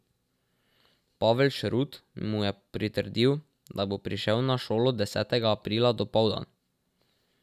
Pavel Šrut mu je pritrdil, da bo prišel na šolo desetega aprila dopoldan.